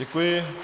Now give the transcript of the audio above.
Děkuji.